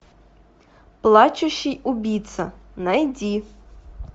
плачущий убийца найди